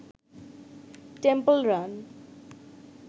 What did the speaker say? temple run